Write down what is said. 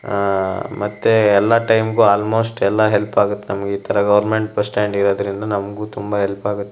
ಆಹ್ಹ್ ಮತ್ತೆ ಎಲ್ಲ ಟೈಮ್ ಗು ಆಲ್ಮೋಸ್ಟ್ ಎಲ್ಲ ಹೆಲ್ಪ್ ಅಗತ್ ನಮಗೆ ಈ ತರ ಗವರ್ನಮೆಂಟ್ ಬಸ್ಸ್ಟ್ಯಾಂಡ್ ಇರೋದ್ರಿಂದ ನಮಗೂ ತುಂಬ ಹೆಲ್ಪ್ ಆಗುತ್ತೆ.